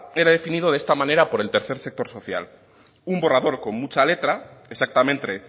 queda definido de esta manera por el tercer sector social un borrador con mucha letra exactamente